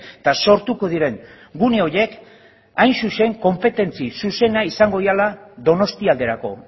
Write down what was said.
eta sortuko diren gune horiek hain zuzen konpetentzi zuzena izango direla donostialderako